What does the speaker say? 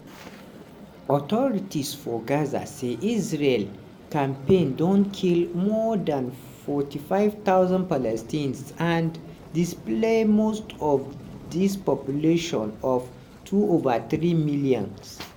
authorities for gaza say israel campaign don kill more dan 45000 palestinians and displace most of di population of 2 ova.3 million.